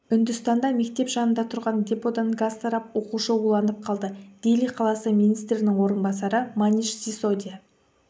үндістанда мектеп жанында тұрған деподан газ тарап оқушы уланып қалды дели қаласы министрінің орынбасары маниш сисодия